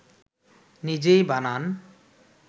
নিজেই বানান